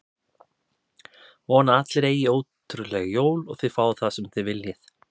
Vona að allir eigi ótrúleg jól og þið fáið það sem þið viljið!